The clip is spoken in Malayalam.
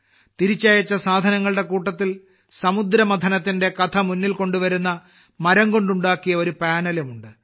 തിരിച്ചയച്ച സാധനങ്ങളുടെ കൂട്ടത്തിൽ സമുദ്രമഥനത്തിന്റെ കഥ മുന്നിൽ കൊണ്ടുവരുന്ന മരം കൊണ്ടുണ്ടാക്കിയ ഒരു പാനലും ഉണ്ട്